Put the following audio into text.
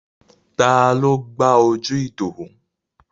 Taló gbá ojú Ìdòwú?